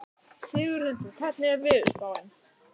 Sigurhildur, hvernig er veðurspáin?